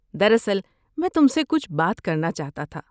دراصل، میں تم سے کچھ بات کرنا چاہتا تھا۔